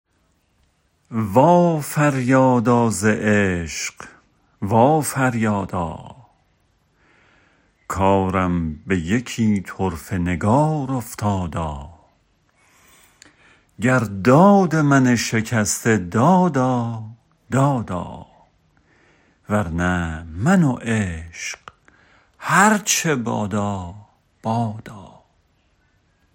وا فریادا ز عشق وا فریادا کارم به یکی طرفه نگار افتادا گر داد من شکسته دادا دادا ور نه من و عشق هر چه بادا بادا